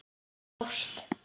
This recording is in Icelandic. Af ást.